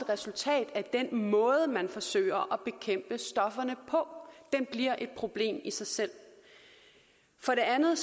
resultat af den måde man forsøger at bekæmpe stofferne på den bliver et problem i sig selv for det andet